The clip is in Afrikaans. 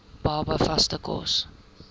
baba vaste kos